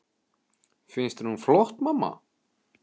Finnst þér hún flott, mamma?